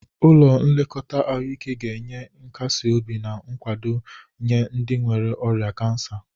Ụlọ nlekọta ahụike ga-enye nkasi obi na nkwado nye ndị nwere ọrịa kansa.